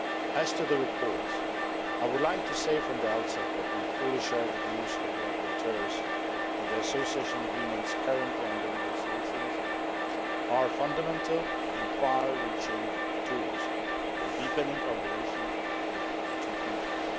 As to the reports, I would like to say from the outset that we fully share the views of the rapporteurs that the Association Agreements currently under negotiation are fundamental and far reaching tools for deepening our relations with the two countries.